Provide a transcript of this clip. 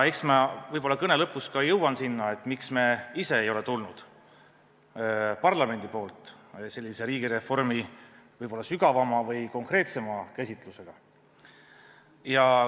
Eks ma võib-olla kõne lõpus ka jõuan sinna, miks me ise ei ole tulnud parlamendi poolt välja riigireformi võib-olla sügavama või konkreetsema käsitlusega.